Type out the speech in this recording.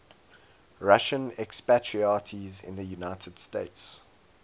russian expatriates in the united states